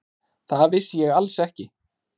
Það vissi ég alls ekki.